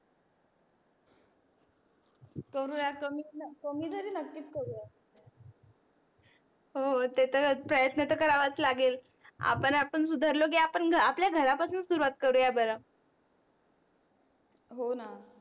करुयात कमी तरी नक्कीच करुयात हो ते तर प्रयत्न तर करावाच लागेल. आपण आपण सुधरलो की आपण आपल्या घरापासून सुरवात करूया बर होणा